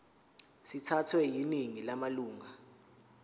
sithathwe yiningi lamalunga